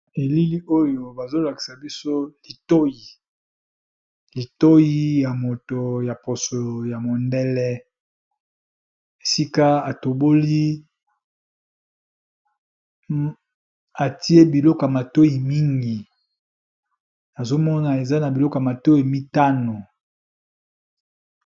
Na elili oyo bazolakisa biso litoyi ya moto ya loposo ya mundele esila atoboli atye biloko ya matoyi mingi atye biloko mitano.